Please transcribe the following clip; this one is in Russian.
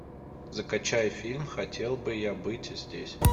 закачай фильм хотел бы я быть здесь